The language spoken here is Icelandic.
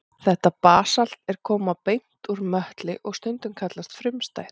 Þetta basalt er talið koma beint úr möttli og stundum kallað frumstætt.